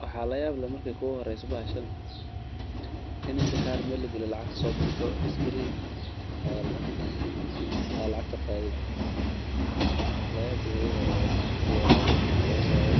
Waxa la yaab lee marki kuugu horeso bahashan, in intii kaar meel lagaliyo lacag kaso baxdo screen eeh aa lacagta qadhatid, la yaabki oogu horeya oo dadhka ku yabayin taas wayee.